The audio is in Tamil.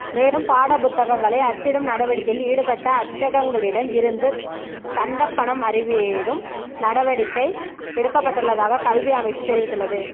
மேலும் பாடப்புத்தகங்களை அச்சிடும் நடவடிக்கையில் ஈடுபட்ட அச்சகங்களிடம் இருந்து தண்டப்பணம் அறவிடும் நடவடிக்கை எடுக்கப்பட்டுள்ளதாக கல்வி அமைச்சு தெரிவித்துள்ளது